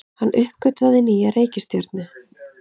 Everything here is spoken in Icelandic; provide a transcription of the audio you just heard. Hann uppgötvaði nýja reikistjörnu!